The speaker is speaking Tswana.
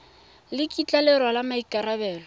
le kitla le rwala maikarabelo